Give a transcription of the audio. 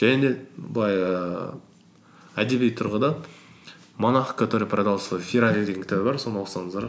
және де былай ііі әдеби тұрғыдан монах который продал свой феррари деген кітабы бар соны оқысаңыздар